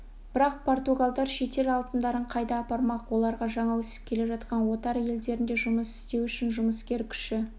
бірақ португалдар шетел алтындарын қайда апармақ оларға жаңа өсіп келе жатқан отар елдерінде жұмыс істеу үшін жұмыскер күші